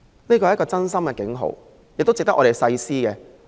這是一個真心的警號，值得我們深思。